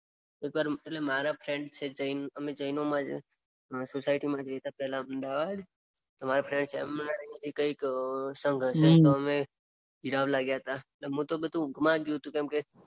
મારા ફ્રેન્ડ છે જૈન અમે જૈનોની સોસાયટીમાં રેતાતા અમદાવાદ. મારા ફ્રેન્ડ નો સંઘ હસે તો અમે જીરાવલા ગયા તો મારે તો બધું ઊંઘમાં જ ગયું તુ કેમ કે.